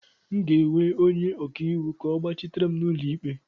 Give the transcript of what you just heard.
M ga-ewe onye ọka iwu ka ọ gbachitere m n'ụlọ ikpe